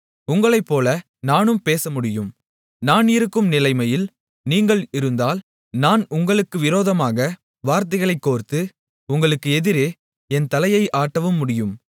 உங்களைப்போல நானும் பேசமுடியும் நான் இருக்கும் நிலைமையில் நீங்கள் இருந்தால் நான் உங்களுக்கு விரோதமாக வார்த்தைகளைக் கோர்த்து உங்களுக்கு எதிரே என் தலையை ஆட்டவும் முடியும்